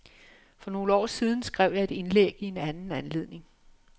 For nogle år siden skrev jeg et indlæg i anden anledning.